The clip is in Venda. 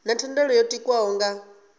na thendelo yo tikwaho nga